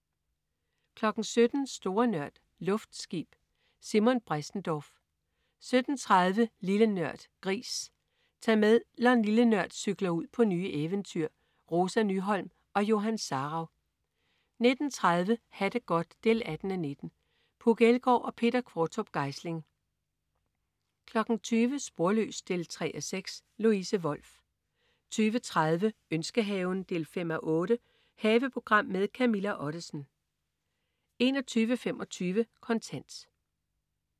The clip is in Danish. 17.00 Store Nørd. Luftskib. Simon Bressendorf 17.30 Lille Nørd. Gris. Tag med, når "Lille Nørd" cykler ud på nye eventyr. Rosa Nyholm og Johan Sarauw 19.30 Ha' det godt 18:19. Puk Elgård og Peter Qvortrup Geisling 20.00 Sporløs 3:6. Louise Wolff 20.30 Ønskehaven 5:8. Haveprogram med Camilla Ottesen 21.25 Kontant